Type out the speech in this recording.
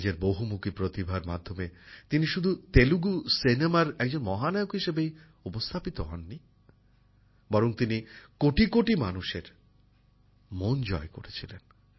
নিজের বহুমুখী প্রতিভার মাধ্যমে তিনি শুধু তেলেগু সিনেমার একজন মহানায়ক হিসেবেই উপস্থাপিত হননি বরং তিনি কোটি কোটি মানুষের মন জয় করেছিলেন